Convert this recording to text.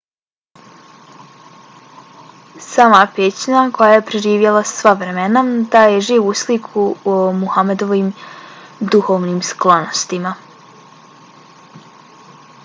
sama pećina koja je preživjela sva vremena daje živu sliku o muhammedovim duhovnim sklonostima